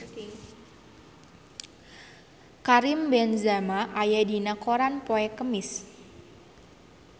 Karim Benzema aya dina koran poe Kemis